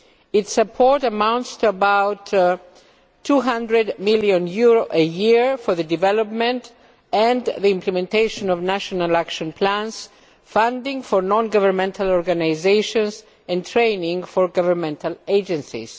Its support amounts to about EUR 200 million a year for the development and the implementation of national action plans, funding for non governmental organisations and training for governmental agencies.